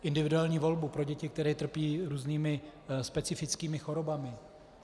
Individuální volbu pro děti, které trpí různými specifickými chorobami.